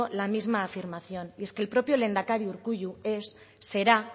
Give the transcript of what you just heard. la misma afirmación y es que el propio lehendakari urkullu es será